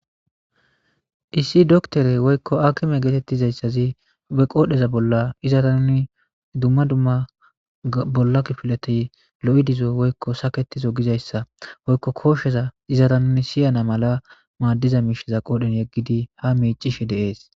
Issi dookittere woykko hakime gettetizayssazi be qoodhdhe bolla izzara nuuni dumma dumma bolla kiffileti looii diizo woykko saaketizo giizayssa eoykko koshsheza izzara nuuni siiyana maalla maadiza mishsheza qodhdhen yeggidi ha miccishshe de'essi.